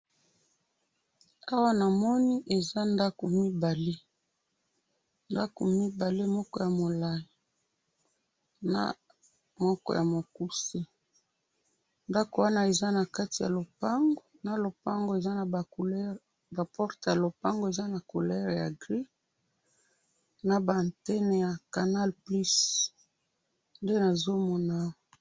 Awa namoni eza ndaku mibale, ndaku mibale moko ya mulayi na moko ya mukuse ndaku wana eza na kati ya lopango na lopango eza na ba couleur na porte ya lopango eza na couleur ya gris naba antenne ya canal plus nde nazomona awa.